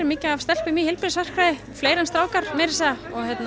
mikið af stelpum í fleiri en strákar meira að segja